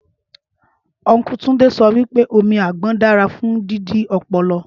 Ọnkú Túndé sọ wípé omi àgbọn dára fún jíjí ọpọlọ